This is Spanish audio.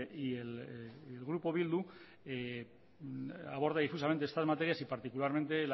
y el grupo bildu aborda difusamente estas materias y particularmente